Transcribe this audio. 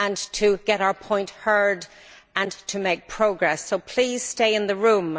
to get our point heard and to make progress. So please stay in the room.